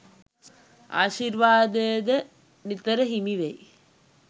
ආශිර්වාදයද නිතර හිමි වෙයි.